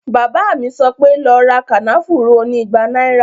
Bàbá mi sọ pé, "lọ ra kànáfùrú oní ìgbà náíra